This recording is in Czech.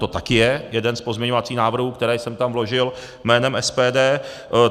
To taky je jeden z pozměňovacích návrhů, které jsem tam vložil jménem SPD.